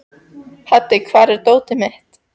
Haddi, hvar er dótið mitt?